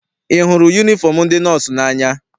Ị hụrụ yunifọm ndị nọọsụ n'anya?